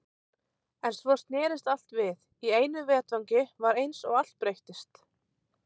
En svo snerist allt við, í einu vetfangi var eins og allt breyttist.